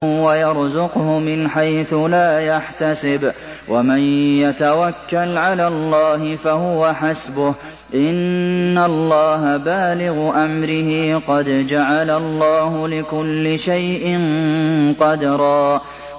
وَيَرْزُقْهُ مِنْ حَيْثُ لَا يَحْتَسِبُ ۚ وَمَن يَتَوَكَّلْ عَلَى اللَّهِ فَهُوَ حَسْبُهُ ۚ إِنَّ اللَّهَ بَالِغُ أَمْرِهِ ۚ قَدْ جَعَلَ اللَّهُ لِكُلِّ شَيْءٍ قَدْرًا